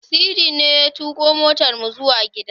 Sidi ne ya tuƙo motarmu zuwa gida.